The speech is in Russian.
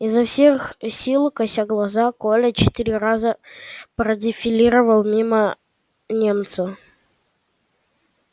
изо всех сил кося глаза коля четыре раза продефилировал мимо немца